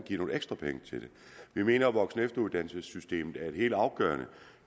give nogle ekstra penge til det vi mener at voksen og efteruddannelsessystemet er helt afgørende